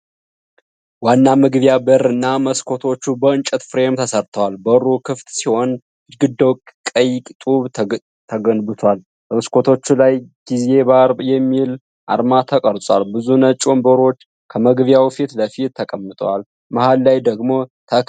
ዋና መግቢያ በርና መስኮቶች በእንጨት ፍሬም ተሰርተዋል። በሩ ክፍት ሲሆን ግድግዳው ከቀይ ጡብ ተገንብቷል። በመስኮቶቹ ላይ "ጊዚ ባር" የሚል አርማ ተቀርጿል። ብዙ ነጭ ወንበሮች ከመግቢያው ፊት ለፊት ተቀምጠዋል፣ መሀል ላይ ደግሞ ተክል አለ።